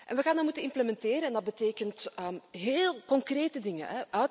We gaan die moeten implementeren en dat betekent heel concrete dingen.